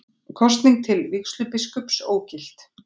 Kosning til vígslubiskups ógilt